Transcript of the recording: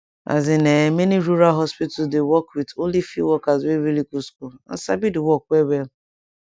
as in[um]many rural hospital dey work with only few workers wey really go school and sabi di work well well